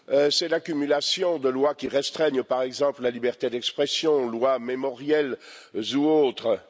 C'est l'accumulation de lois qui restreignent, par exemple, la liberté d'expression, lois mémorielles ou autres.